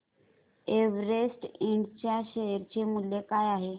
Everest ind च्या share चे मूल्य काय आहे